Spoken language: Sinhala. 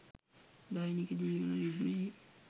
දෛනික ජීවන රිද්මයෙහි